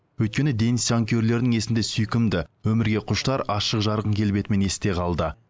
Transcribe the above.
өйткені денис жанкүйерлерінің есінде сүйкімді өмірге құштар ашық жарқын келбетімен есте қалды